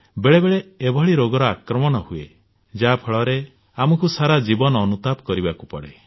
ବେଳେ ବେଳେ ଏଭଳି ରୋଗର ଆକ୍ରମଣ ହୁଏ ଯାହା ଫଳରେ ଆମକୁ ସାରା ଜୀବନ ଅନୁତାପ କରିବାକୁ ପଡେ